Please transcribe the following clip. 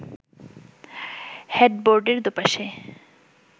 হেডবোর্ডের দুপাশে